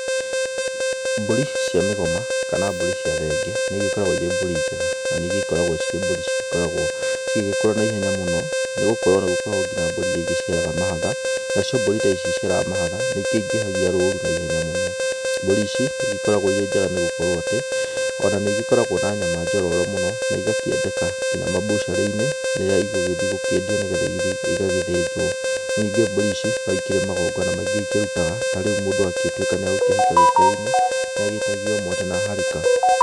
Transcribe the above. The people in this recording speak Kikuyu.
Mbũrĩ cia mĩgoma kana mbũri cia thenge nĩ igĩkoragwo irĩ mbũri njega na nĩĩgĩkoragwo cirĩ mbũri cigĩkoragwo cigĩgĩkũra na ihenya mũno nĩ gũkorwo nĩ gũkoragwo na mbũri iria igĩciaraga mahatha, nacio mbũri ta ici iria igĩciaraga mahatha nĩ ikĩingĩhagia roru na ihenya mũno. Mbũri ici nĩ igĩkoragwo irĩ njega nĩ gũkorwo atĩ, o na nĩ igĩkoragwo na nyama njororo mũno na igakĩendeka nginya mabutchery-inĩ rĩrĩa igũgĩthiĩ gũkĩendio nĩgetha igĩthiĩ igagĩthĩnjwo. Ningĩ mbũri ici no ikĩrĩ magongona maingĩ ikĩrutaga ta rĩu mũndũ angĩtuĩka nĩ akũhika gĩkũyũ-inĩ, nĩ agĩtagio mwatĩ na harika.